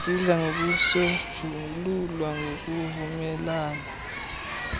zidla ngokusonjululwa ngokuvumelana